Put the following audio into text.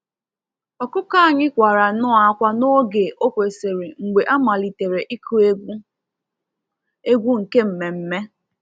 Ọkụkọ anyị kwarannọ akwa n'oge ọ kwesịrị mgbe a malitere ịkụ egwu egwu nke mmemme